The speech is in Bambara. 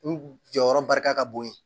N jɔyɔrɔ barika ka bon